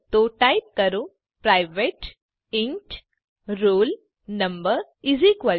તો ટાઈપ કરો private enrol no50